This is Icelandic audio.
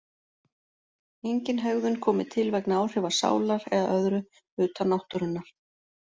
Engin hegðun komi til vegna áhrifa sálar eða öðru utan náttúrunnar.